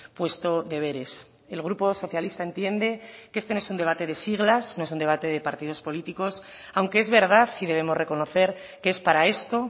puesto deberes el grupo socialista entiende que este no es un debate de siglas no es un debate de partidos políticos aunque es verdad y debemos reconocer que es para esto